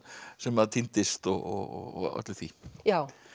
sem týndist og öllu því já